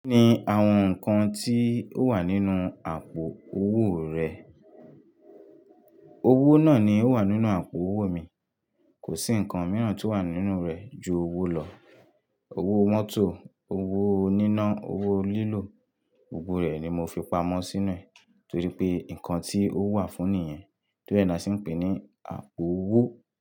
Kí ni àwọn nǹkan tí ó wà nínú àpò owó rẹ? Owó náà ni ó wà nínú àpò owó mi. Kò sí nǹkan mìíràn tí ó wà nínú rẹ̀ ju owó lọ. Owó mótò, owó oníná, owó lílò. Gbogbo rẹ̀ ni mo fi pamọ́ sínú ẹ̀ torí pé nǹkan tí ó wà fún ni yen, tóri e lase n pè ní àpò owó.